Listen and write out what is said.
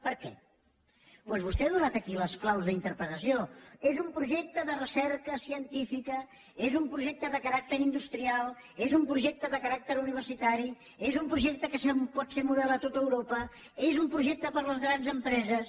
per què doncs vostè ha donat aquí les claus d’interpretació és un projecte de recerca científica és un projecte de caràcter industrial és un projecte de caràcter universitari és un projecte que pot ser model a tot europa és un projecte per a les grans empreses